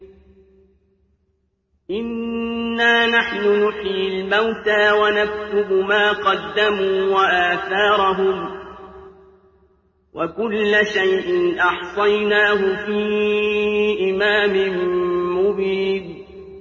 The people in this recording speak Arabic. إِنَّا نَحْنُ نُحْيِي الْمَوْتَىٰ وَنَكْتُبُ مَا قَدَّمُوا وَآثَارَهُمْ ۚ وَكُلَّ شَيْءٍ أَحْصَيْنَاهُ فِي إِمَامٍ مُّبِينٍ